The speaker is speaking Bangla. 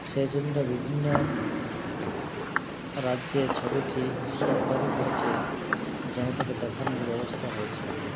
সেজন্য বিভিন্ন রাজ্যে ছবিটি সরকার ই করেছে জনতাকে দেখানোর ব্যবস্থা হয়েছে